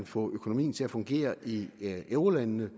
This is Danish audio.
få økonomien til at fungere i eurolandene